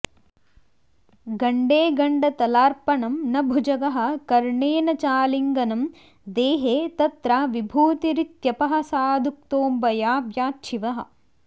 गण्डे गण्डतलार्पणं न भुजगः कर्णेन चालिङ्गनं देहे तत्र विभूतिरित्यपहसादुक्तोऽम्बयाव्याच्छिवः